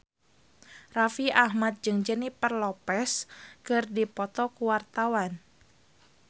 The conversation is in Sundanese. Raffi Ahmad jeung Jennifer Lopez keur dipoto ku wartawan